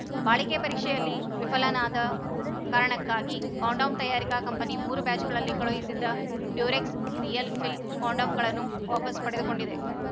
ಬಾಳಿಕೆ ಪರೀಕ್ಷೆಯಲ್ಲಿ ವಿಫಲವಾದ ಕಾರಣಕ್ಕಾಗಿ ಕಾಂಡೋಮ್‌ ತಯಾರಿಕಾ ಕಂಪನಿ ಮೂರು ಬ್ಯಾಚ್‌ಗಳಲ್ಲಿ ಕಳುಹಿಸಿದ್ದ ಡ್ಯೂರೆಕ್ಸ್‌ ರಿಯಲ್‌ ಫೀಲ್‌ ಕಾಂಡೋಮ್‌ಗಳನ್ನು ವಾಪಸ್‌ ಪಡೆದುಕೊಂಡಿದೆ